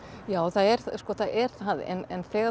já það er það er það en þegar